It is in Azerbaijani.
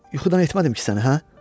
Yuxudan etmədim ki səni, hə?